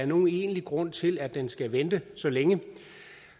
nogen egentlig grund til at den skal vente så længe